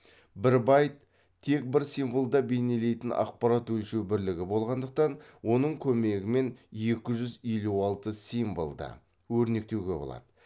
бір байт тек бір символды бейнелейтін ақпарат өлшеу бірлігі болғандықтан оның көмегімен екі жүз елу алты символды өрнектеуге болады